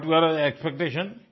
what were your expectation